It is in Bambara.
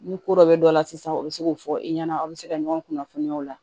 Ni ko dɔ bɛ dɔ la sisan o bɛ se k'o fɔ i ɲɛna aw bɛ se ka ɲɔgɔn kunnafoniya o la